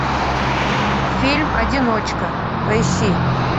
фильм одиночка поищи